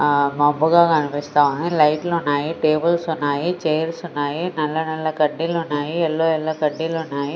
ఆ మామూల్గ కనిపిస్తా ఉంది. లైట్స్ ఉన్నాయి టేబుల్స్ ఉన్నాయి చైర్స్ ఉన్నాయి నల్ల నల్ల కడ్డీలు ఉన్నాయి యెల్లో యెల్లో కడ్డీలు ఉన్నాయి.